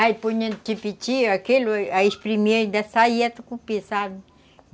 Aí punha no tipiti aquele, aí espremia e ainda saía do tucupi, sabe?